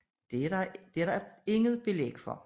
Der er dog ikke belæg for det